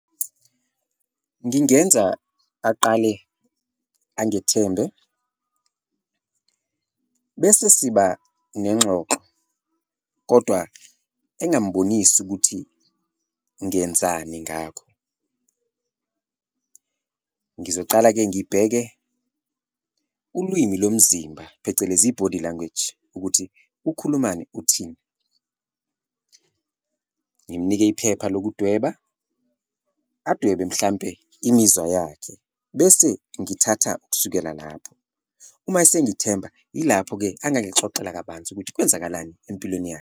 Ngingenza aqale angithembe bese siba nengxoxo kodwa engambonisi ukuthi ngenzani ngakho, ngizocala-ke ngibheke ulwimi lomzimba, phecelezi i-body language, ukuthi ukhulumani uthini, ngimnike iphepha lokudweba adwebe mhlampe imizwa yakhe, bese ngithatha ukusukela lapho. Uma esengithemba yilapho-ke angangixoxela kabanzi ukuthi kwenzakalani empilweni yakhe.